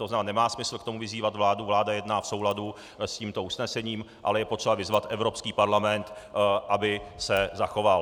To znamená, nemá smysl k tomu vyzývat vládu, vláda jedná v souladu s tímto usnesením, ale je potřeba vyzvat Evropský parlament, aby se zachoval.